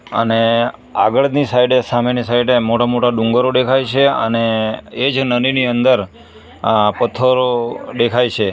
અને આગળની સાઈડે સામેની સાઈડે મોટા મોટા ડુંગરો દેખાય છે અને એ જ નદીની અંદર અહ પથ્થરો દેખાય છે.